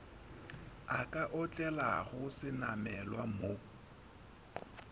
a ka otlelago senamelwa mo